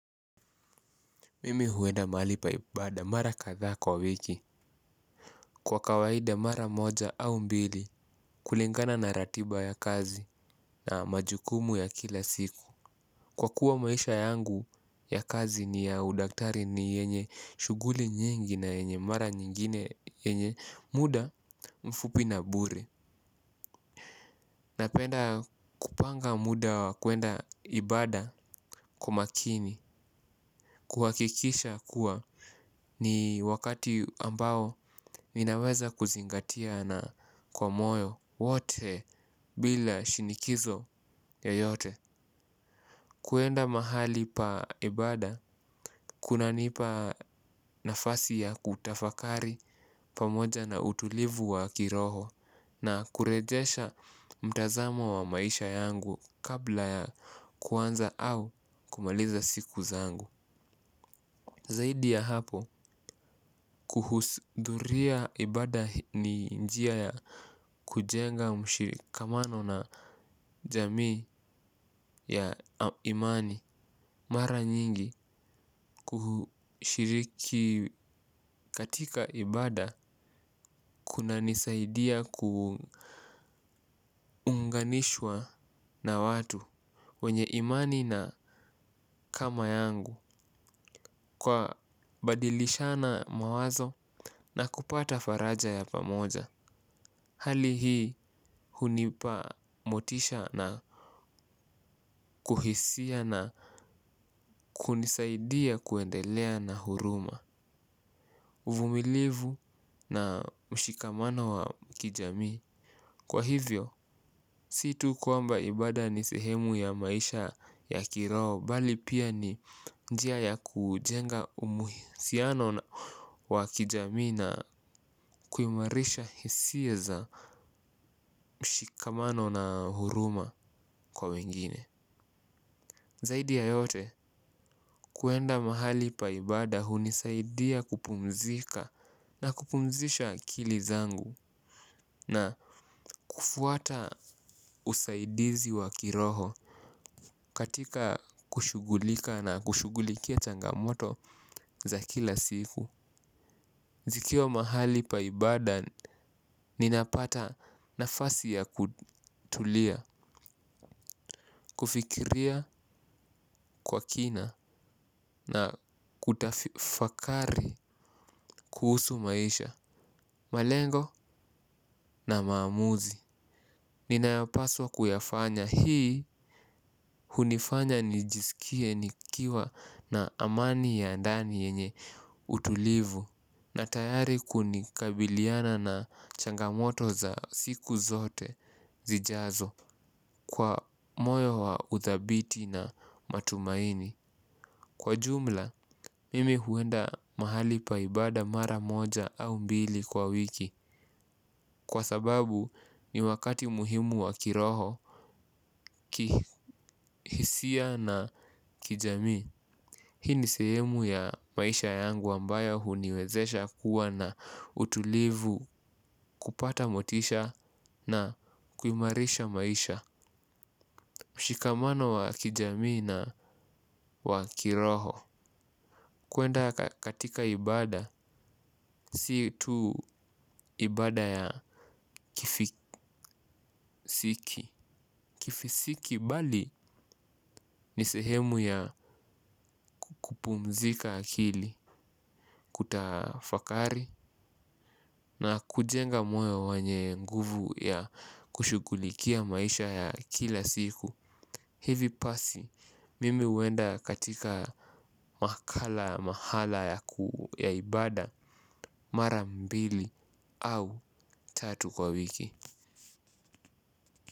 Mimi huenda mahali pa ibada mara kadhaa kwa wiki. Kwa kawaida mara moja au mbili kulingana na ratiba ya kazi na majukumu ya kila siku. Kwa kuwa maisha yangu ya kazi ni ya udaktari ni yenye shughuli nyingi na yenye mara nyingine yenye muda mfupi na bure. Napenda kupanga muda wa kwenda ibada kwa makini. Kuhakikisha kuwa ni wakati ambao ninaweza kuzingatia na kwa moyo wote bila shinikizo yoyote. Kwenda mahali pa ibada, kunanipa nafasi ya kutafakari pamoja na utulivu wa kiroho na kurejesha mtazamo wa maisha yangu kabla ya kuanza au kumaliza siku zangu. Zaidi ya hapo kuhudhuria ibada ni njia ya kujenga mshikamano na jamii ya imani. Mara nyingi kushiriki katika ibada kunanisaidia ku kuunganishwa na watu wenye imani na kama yangu kwa kubadilishana mawazo na kupata faraja ya pamoja. Hali hii hunipa motisha na kuhisia na kunisaidia kuendelea na huruma. Uvumilivu na mshikamano wa kijami. Kwa hivyo, situ kwamba ibada ni sehemu ya maisha ya kiroho, bali pia ni njia ya kujenga uhusiano wa kijamii na kuimarisha hisia za mshikamano na huruma kwa wengine zaidi ya yote kwenda mahali la ibada hunisaidia kupumzika na kupumzisha akili zangu na kufuata usaidizi wa kiroho katika kushughulika na kushughulikia changamoto za kila siku. Zikiwa mahali pa ibada ninapata nafasi ya kutulia, kufikiria kwa kina na kutafakari kuhusu maisha. Malengo na maamuzi. Ninayopaswa kuyafanya hii hunifanya nijisikie nikiwa na amani ya ndani yenye utulivu na tayari kunikabiliana na changamoto za siku zote zijazo kwa moyo wa uthabiti na matumaini. Kwa jumla, mimi huenda mahali pa ibada mara moja au mbili kwa wiki. Kwa sababu ni wakati muhimu wa kiroho, kihisia na kijamii hii ni sehemu ya maisha yangu ambayo huniwezesha kuwa na utulivu kupata motisha na kuimarisha maisha. Mshikamano wa kijamii na wa kiroho. Kwenda katika ibada, si tu ibada ya kifisiki. Kifisiki bali ni sehemu ya kupumzika akili kutafakari na kujenga moyo wenye nguvu ya kushughulikia maisha ya kila siku. Hivi basi, mimi huenda katika makala mahala ya ibada mara mbili au tatu kwa wiki.